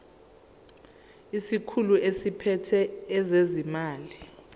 isikhulu esiphethe ezezimali